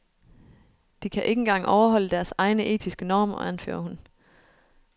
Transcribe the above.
De kan ikke engang overholde deres egne, etiske normer, anfører hun.